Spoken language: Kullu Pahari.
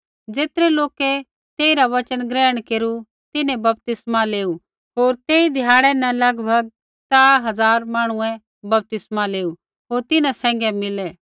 ज़ेतरै लोकै तेइरा वचन ग्रहण केरू तिन्हैं बपतिस्मा लेऊ होर तेई ध्याड़ै न लगभग त्रा हज़ार मांहणुऐ बपतिस्मा लेऊ होर तिन्हां सैंघै मिलै